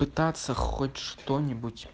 пытаться хочешь что-нибудь